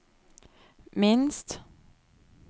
minst